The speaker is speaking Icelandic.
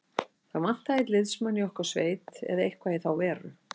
Það vantaði einn liðsmann í okkar sveit eða eitthvað í þá veru.